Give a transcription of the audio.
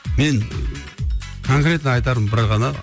мен конкретно айтарым бір ғана